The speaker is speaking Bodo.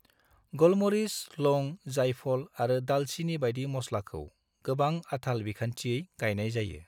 गलमरिस, लौंग, जायफल आरो दालचीनी बायदि मस्लाखौ गोबां-आथाल बिखान्थियै गायनाय जायो।